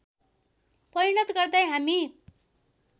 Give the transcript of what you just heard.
परिणत गर्दै हामी